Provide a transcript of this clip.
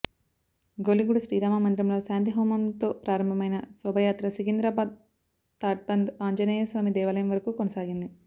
గౌలిగూడ శ్రీరామ మందిరంలో శాంతి హోమంతో ప్రారంభమైన శోభాయాత్ర సికిందరాబాద్ తాడ్బంద్ ఆంజనేయ స్వామి దేవాలయం వరకు కొనసాగింది